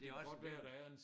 Men det også det